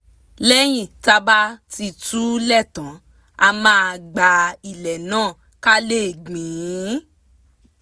lẹ́yìn tá bá ti túlẹ̀ tán a máa gbá ilẹ̀ náà ká lè gbìn ín